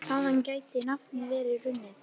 Þaðan gæti nafnið verið runnið.